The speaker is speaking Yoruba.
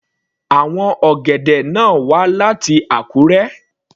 Àwọn ọ̀gẹ̀dẹ̀ náà wá láti Akure.